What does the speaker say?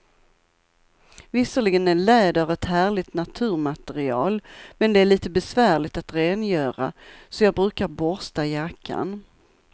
Visserligen är läder ett härligt naturmaterial, men det är lite besvärligt att rengöra, så jag brukar borsta jackan.